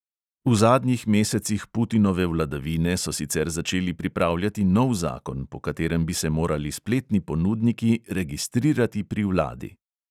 V zadnjih mesecih putinove vladavine so sicer začeli pripravljati nov zakon, po katerem bi se morali spletni ponudniki registrirati pri vladi.